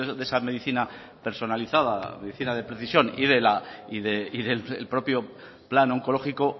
de esa medicina personalizada medicina de precisión y del propio plan oncológico